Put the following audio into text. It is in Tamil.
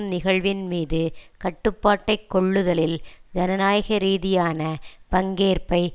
நிகழ்வின் மீது கட்டுப்பாட்டை கொள்ளுதலில் ஜனநாயக ரீதியான பங்கேற்பை